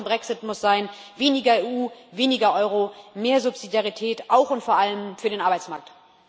Die Lehre aus dem Brexit muss sein weniger EU, weniger Euro, mehr Subsidiarität auch und vor allem für den Arbeitsmarkt.